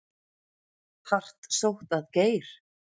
Hart sótt að Geir